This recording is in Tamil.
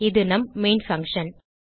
இது நம் மெயின் பங்ஷன்